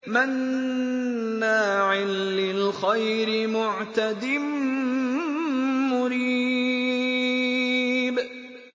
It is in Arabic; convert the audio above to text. مَّنَّاعٍ لِّلْخَيْرِ مُعْتَدٍ مُّرِيبٍ